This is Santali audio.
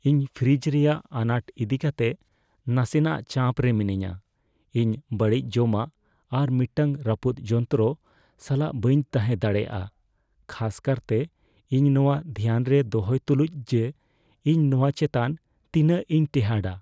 ᱤᱧ ᱯᱷᱨᱤᱡᱽ ᱨᱮᱭᱟᱜ ᱟᱱᱟᱴ ᱤᱫᱤ ᱠᱟᱛᱮ ᱱᱟᱥᱮᱱᱟᱜ ᱪᱟᱯ ᱨᱮ ᱢᱤᱱᱟᱹᱧᱟ; ᱤᱧ ᱵᱟᱹᱲᱤᱡ ᱡᱚᱢᱟᱜ ᱟᱨ ᱢᱤᱫᱴᱟᱝ ᱨᱟᱹᱯᱩᱫ ᱡᱚᱱᱛᱨᱚ ᱥᱟᱞᱟᱜ ᱵᱟᱹᱧ ᱛᱟᱦᱮᱸ ᱫᱟᱲᱮᱭᱟᱜᱼᱟ, ᱠᱷᱟᱥ ᱠᱟᱨᱛᱮ ᱤᱧ ᱱᱚᱶᱟ ᱫᱷᱮᱭᱟᱱ ᱨᱮ ᱫᱚᱦᱚᱭ ᱛᱩᱞᱩᱡ ᱡᱮ ᱤᱧ ᱱᱚᱣᱟ ᱪᱮᱛᱟᱱ ᱛᱤᱱᱟᱹᱜ ᱤᱧ ᱴᱮᱸᱦᱟᱰᱟ ᱾